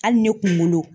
Hali ne kunkolo